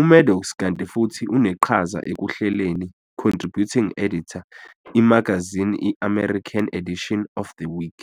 uMaddox kanti futhi uneqhaza ekuhlelini, contributing editor, imagazini i-American edition of "The Week".